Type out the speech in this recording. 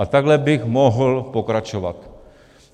A takhle bych mohl pokračovat.